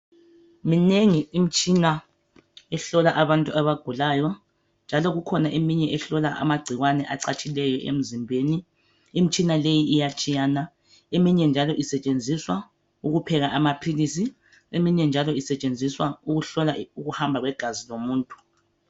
Minengi imitshina ehlola abantu abagulayo njalo kukhona eminye ehlola amagcikwane acatshileyo emzimbeni . Imitshina leyi iyatshiyana, eminye njalo isetshenziswa ukupheka amaphilisi. Eminye njalo isetshenziswa ukuhlola ukuhamba kwegazi lomuntu .